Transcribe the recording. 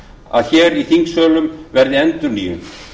að hér í þingsölum verði endurnýjun